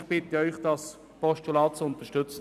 Ich bitte Sie, das Postulat zu unterstützen.